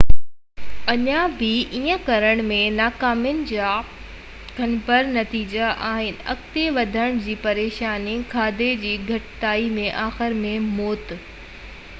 اڃا بہ ايئن ڪرڻ ۾ ناڪامين جا گنڀير نتيجا آهن اڳتي وڌڻ جي پريشاني کاڌي جي گهٽتائي ۽ آخر ۾ موت